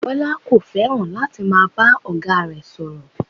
Bọ́lá kò fẹ́ràn láti máa bá ọ̀gá rẹ̀ sọ̀rọ̀